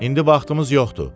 İndi vaxtımız yoxdur.